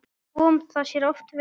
Kom það sér oft vel.